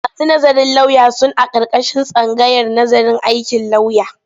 Masu nazarin lauya sun aƙarƙashin tsangayar nazarin aikin lauya.